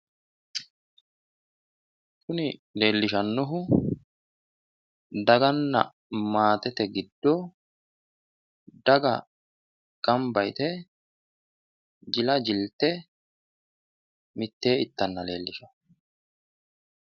Kuni leellishannohu daganna maatete giddo daga ganbba yite jila jiltte mitteenni ittanna leellishanno.